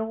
Eu